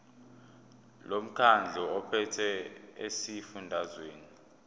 lomkhandlu ophethe esifundazweni